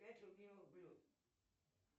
пять любимых блюд